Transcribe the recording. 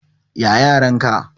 Ya yaran ka?